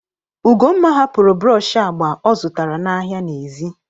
Ugomma hapụrụ brọọshị agba ọ zụtara n'ahịa n'èzí.